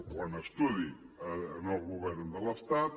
o en estudi en el govern de l’estat